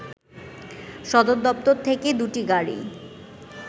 সদরদপ্তর থেকে দুটি গাড়ি